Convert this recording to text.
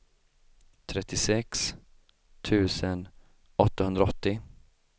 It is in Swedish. trettiosex tusen åttahundraåttio